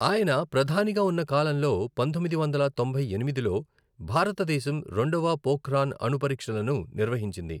ఆయన ప్రధానిగా ఉన్న కాలంలో పంతొమ్మిది వందల తొంభై ఎనిమిదిలో భారతదేశం రెండవ పోఖ్రాన్ అణు పరీక్షలను నిర్వహించింది.